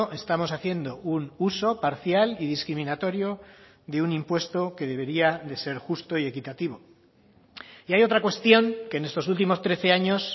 estamos haciendo un uso parcial y discriminatorio de un impuesto que debería de ser justo y equitativo y hay otra cuestión que en estos últimos trece años